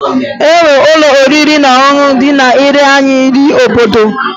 E nwere ụlọ oriri na ọṅụṅụ ndị na-ere naanị nri obodo